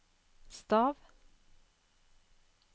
stav